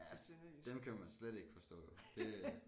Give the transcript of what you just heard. Ja dem kan man slet ikke forstå jo det er